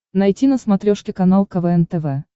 найти на смотрешке канал квн тв